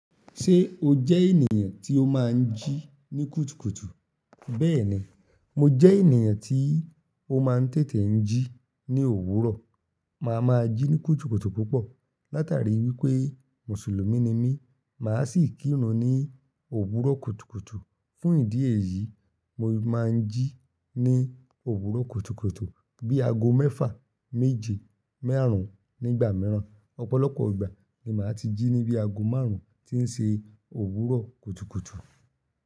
Ṣé o jẹ́ ènìyàn tí ó máa ń jí ní kùtùkùtù? Bẹẹni, mo jẹ́ ènìyàn tí ó máa ń tètè ń jí ní òwúrọ̀. Mo a máa jí ní kùtùkùtù púpọ̀. Látàrí wípé Mùsùlùmí ni mí, màá sì kírun ní òwúrọ̀ kùtùkùtù. Fún ìdí èyí, mo máa ń jí ní òwúrọ̀ kùtùkùtù bí i aago mẹ́fà, méje, márùn-ún nígbà mìíràn. Ọ̀pọ̀lọpọ̀ ìgbà ni màá ti jí ní bí i aago márùn-ún tí ń ṣe òwúrọ̀ kùtùkùtù.